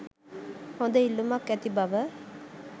හොඳ ඉල්ලුමක් ඇති බව